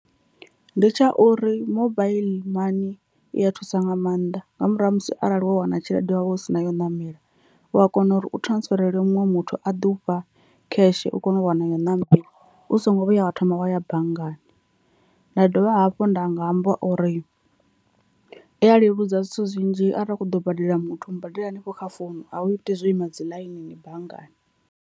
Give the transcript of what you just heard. Ndi tsha uri mobaiḽi money i a thusa nga maanḓa nga murahu ha musi arali wo wana tshelede wa vha u si na ya u ṋamela u a kona uri u transferela muṅwe muthu a ḓi ufha cash u kone u wana iyo ṋama u so ngo vhuya wa thoma wa ya banngani, nda dovha hafhu nda nga amba uri i a leludza zwithu zwinzhi arali u kho ḓo badela muthu u mu badela hanefho kha founu a u iti zwo ima dzi ḽainini banngani.